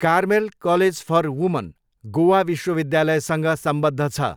Carmel college for women Goa विश्वविद्यालयसँग सम्बद्ध छ।